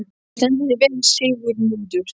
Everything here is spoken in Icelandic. Þú stendur þig vel, Sigurmundur!